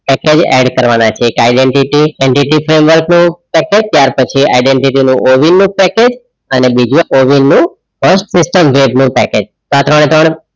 add કરવાના છે identity framework load વાર પછી આઇડેન્ટિટી નો ઓવિન નું પેકેજ અને બીજું ઓવિન નું first question પેકેજ ત્રણે-ત્રણ